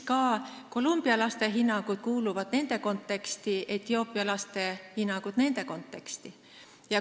Colombia laste hinnangud kuuluvad nende konteksti, Etioopia laste hinnangud nende konteksti.